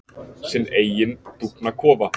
Sinn eiginn dúfnakofa.